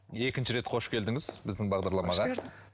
екінші рет қош келдіңіз біздің бағдарламаға